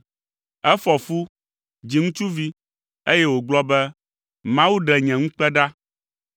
Efɔ fu, dzi ŋutsuvi, eye wògblɔ be, “Mawu ɖe nye ŋukpe ɖa.”